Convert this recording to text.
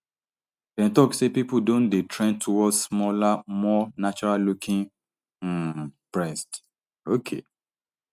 dem tok say pipo don dey trend toward smaller more naturallooking um breasts okay